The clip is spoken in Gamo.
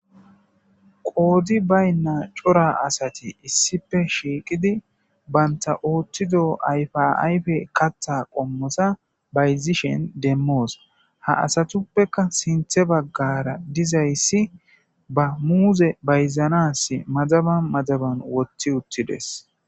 Qoodi baynna cora asati issipe shiiqidi banta ooththido ayfaayfe katta qommosa bayzishen demmoos ha asatuppeka sinthe baggara dizayssi ba muuze bayzanas madaba madaban woththi uttides.